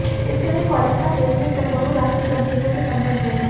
इसके लिए कॉलेज का प्लेसमेंट सेल बहुरष्ट्रीय कंपनियों के संपर्क में है